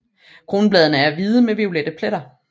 Kronbladene er hvide med violette pletter